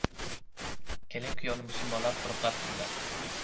Kelin-kuyovni musulmonlar qo‘riqlab turdi.